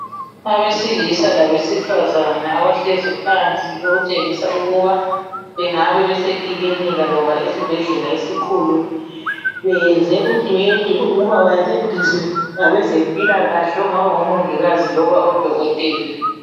Abesilisa labesifazana abahlezi phansi okutshengisa ukuba bengaba bese ekilinika loba esibhedlela esikhulu beyenze udwedwe ukuba bancediswe ngabezempilakahle okungaba ngomongikazi loba odokotela